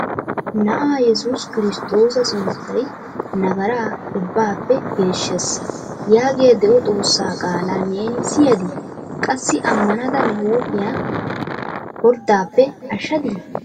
"Na'a Yessus Kristtoossa Suuttay Nagara Ubbappe Geeshshees!" Yaagiya de'o Xoossa qaala neeni siyyadi? Qassi amanada ne huuphiya porddappe ashshadi m